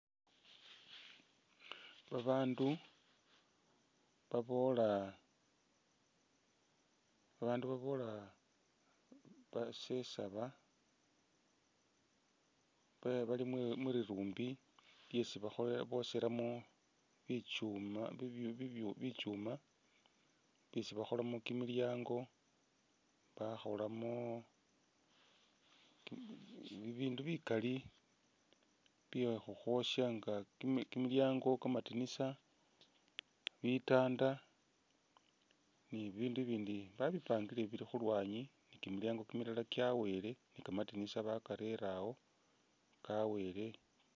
Babaandu baboola, babaandu baboola basesaaba bali muri muribumbi lyesi boshelamo bi bi bitsuuma byesi bakholamo kimilyaango bakholamo bindu bikaali byekhukhwoosha nga kimilyaango, kamandinisa, bitanda ni'bibindu ibindi babipangile bili khulwanyi ni kimilyaango kimilala kyaweele ni kamandinisa bakarere awo kaweele